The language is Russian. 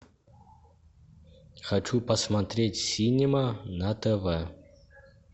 хочу посмотреть синема на тв